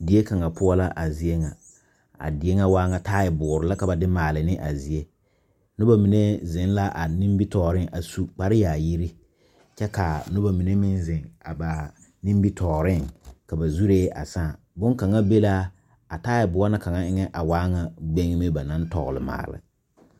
Die kaŋa poɔ la a zie ŋa a die ŋa waa ŋa taaboore la ka ba de maale ne a zie noba mine zeŋ la a nimitɔɔreŋ a su kpareyaayiri kyɛ ka noba mine meŋ zeŋ a ba nimitɔɔreŋ ka ba zuree a sãã bonkaŋa be la a taaboɔ na kaŋa eŋɛ a waa ŋa gbegni ba naŋ tɔgle maale.